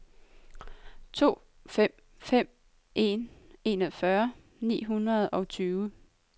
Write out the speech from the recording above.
to fem fem en enogfyrre ni hundrede og tyve